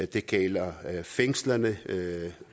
det gælder fængslerne